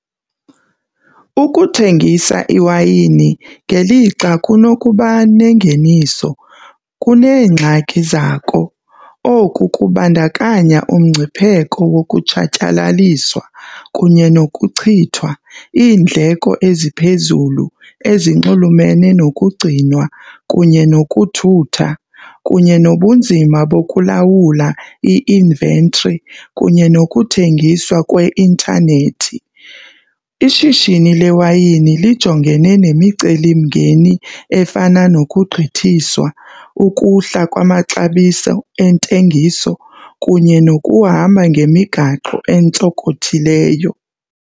Ukuthengisa iwayini ngelixa kunokuba nengeniso, kuneengxaki zako. Oku kubandakanya umngcipheko wokutshatyalaliswa kunye nokuchithwa, iindleko eziphezulu ezinxulumene nokugcinwa kunye nokuthutha, kunye nobunzima bokulawula i-inventory kunye nokuthengiswa kweintanethi. Ishishini lewayini lijongene nemicelimngeni efana nokugqithiswa, ukuhla kwamaxabiso entengiso kunye nokuhamba ngemigaqo entsokothileyo.